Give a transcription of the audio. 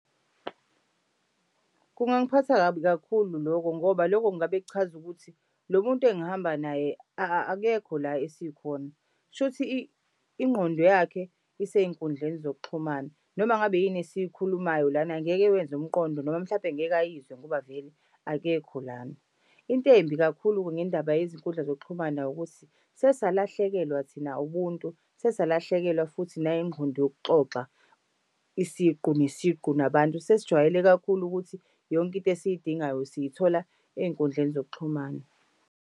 Kungangiphatha kabi kakhulu lokho ngoba loko kungabe kuchaza ukuthi lo muntu engihamba naye akekho la esikhona. Kushuthi ingqondo yakhe isey'nkundleni zokuxhumana noma ngabe yini esiyikhulumayo lana angeke iwenze umqondo noma mhlampe ngeke ayizwe ngoba vele akekho lana. Into embi kakhulu-ke ngendaba yezinkundla zokuxhumana ukuthi sesalahlekelwa thina ubuntu, sesalahlekelwa futhi nayingqondo yokuxoxa isiqu nesiqu nabantu. Sesijwayele kakhulu ukuthi yonke into esiy'dingayo siyithola ey'nkundleni zokuxhumana.